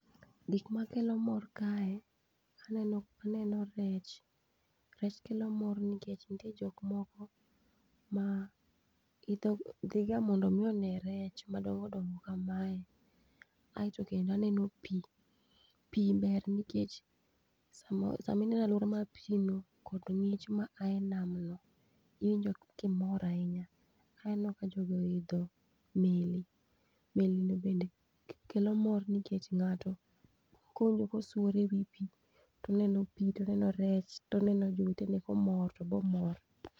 Gik makelo mor kae aneno rech, rech kelo mor nikech nitie jok moko ma idho dhiga mondo mi one rech madongo dongo kamae. Aeto kendo aneno pi, pi ber nikech sama sama waneno alwora mar pi no kod ng'ich ma a e nam no iwinjo ka imor ahinya. Aneno ka jogi oidho meli, meli no bende kelo mor nikech ng'ato kolupo swore e pi, toneno pi, toneno rech, toneno jowete ne komor tobe omor.